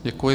Děkuji.